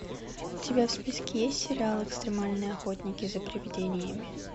у тебя в списке есть сериал экстремальные охотники за привидениями